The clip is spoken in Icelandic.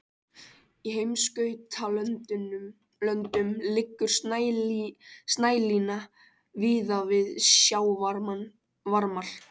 Í heimskautalöndum liggur snælína víða við sjávarmál.